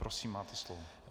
Prosím, máte slovo.